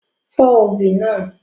Fọ́ obì náà!